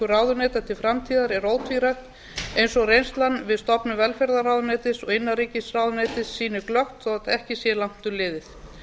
ráðuneyta til framtíðar er ótvírætt eins og reynslan við stofnun velferðarráðuneytis og innanríkisráðuneytis sýnir glöggt þótt ekki sé langt um liðið